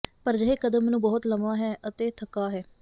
ਪਰ ਅਜਿਹੇ ਕਦਮ ਨੂੰ ਬਹੁਤ ਲੰਮਾ ਹੈ ਅਤੇ ਥਕਾ ਹੈ